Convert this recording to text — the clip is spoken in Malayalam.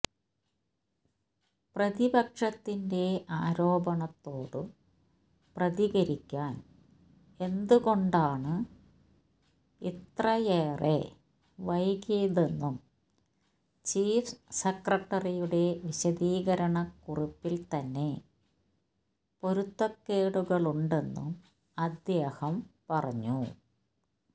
പ്രതിപക്ഷത്തിന്റെ ആരോപണത്തോടു പ്രതികരിക്കാന് എന്തുകൊണ്ടാണ് ഇത്രയേഎറെ ശെവകിയതെന്നും ചീഫ് സെക്രട്ടറിയുടെ വിശദീകരണ കുറിപ്പില്ത്തന്നെ പൊരുത്തക്കേടുകളുണ്ടെന്നും അദ്ദേഹം പറഞ്ഞു